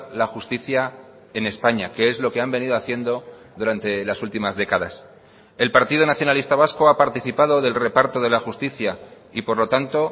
la justicia en españa que es lo que han venido haciendo durante las últimas décadas el partido nacionalista vasco ha participado del reparto de la justicia y por lo tanto